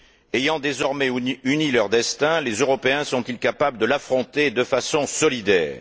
Ayant désormais uni leur destin, les Européens sont ils capables de l'affronter de façon solidaire?